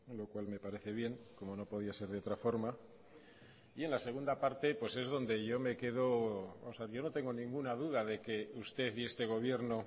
lo cual me parece bien como no podía ser de otra forma y en la segunda parte pues es donde yo me quedo yo no tengo ninguna duda de que usted y este gobierno